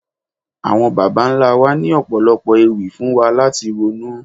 Àwọn bàbá ńlá wa ní Ọ̀pọ̀lọ́pọ̀ ewì fún wa láti ronú.